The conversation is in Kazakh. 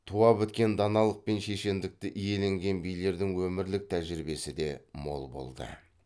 туа біткен даналық мен шешендікті иеленген билердің өмірлік тәжірибесі де мол болды